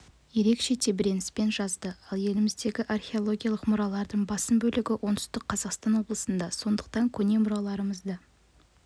ерекше тебіреніспен жазды ал еліміздегі архиологиялық мұралардың басым бөлігі оңтүстік қазақстан облысында сондықтан көне мұраларымызды